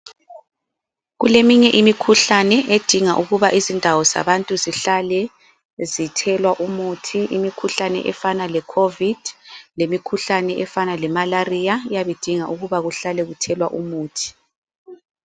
Kuleminye imikhuhlane edinga ukuba izindawo zabantu zihlale zithelwa umuthi. Imikhuhlane efana le-Covid lemikhuhlane efana le-Malariya iyabe idinga ukuthi kuhlale kuthelwa umuthi.